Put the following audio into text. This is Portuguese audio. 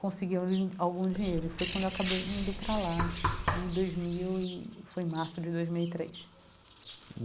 conseguir al algum dinheiro e foi quando eu acabei indo para lá, em dois mil e foi março de dois mil e três.